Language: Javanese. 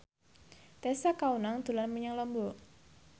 Tessa Kaunang dolan menyang Lombok